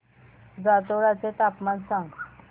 जातोडा चे तापमान सांग